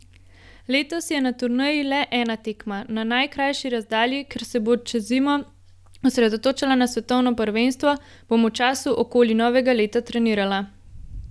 Letos je na turneji le ena tekma na najkrajši razdalji, ker se bom čez zimo osredotočala na svetovno prvenstvo, bom v času okoli novega leta trenirala.